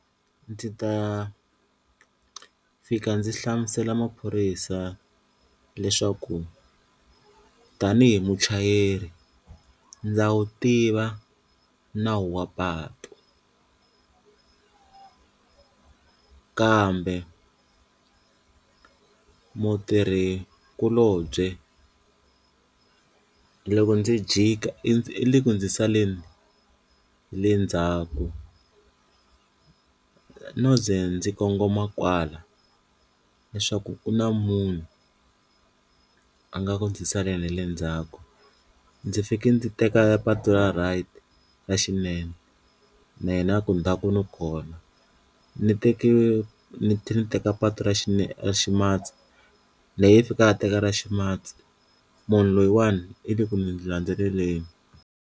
Ndzi ta fika ndzi hlamusela maphorisa leswaku tanihi muchayeri ndza wu tiva nawu wa patu kambe mutirhikulobye loko ndzi jika i ndzi u le ku ndzi saleni hi le ndzhaku no ze ndzi kongoma kwala, leswaku u na munhu a nga ku ndzi saleni hi le ndzhaku ndzi fike ndzi teka patu ra right ra xinene na yena a ku ndzhaku ni kona, ni teke ni ni teka patu ra xinene ra ximatsi na yehe i fika a teka ra ximatsi munhu loyiwani i le ku ni ndzi landzeleleni.